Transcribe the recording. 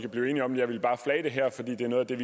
noget af den